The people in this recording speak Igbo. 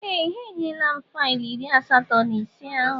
Ee! Ha enyela m faịlụ iri asatọ na ise ahụ.